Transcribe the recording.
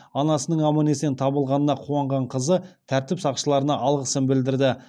анасының аман есен табылғанына қуанған қызы тәртіп сақшыларына алғысын білдірді